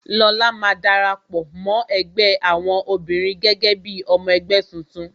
Lóla máa dara pọ, mó ẹgbẹ́ àwọn obìnrin gẹ́gẹ́ bí ọmọ ẹgbẹ́ tuntun